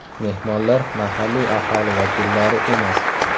Mehmonlar mahalliy aholi vakillari emas.